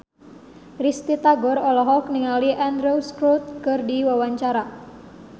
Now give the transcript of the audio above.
Risty Tagor olohok ningali Andrew Scott keur diwawancara